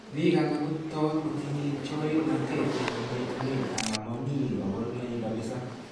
Biik alak kotot kotinye chorirnatet eng' yeetunet ala momi kaborunoik kabisa